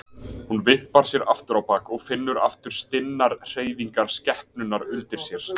Hún vippar sér aftur á bak og finnur aftur stinnar hreyfingar skepnunnar undir sér.